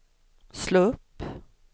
slå upp